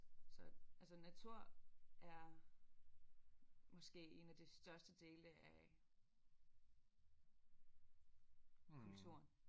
Så altså natur er måske én af de største dele af kulturen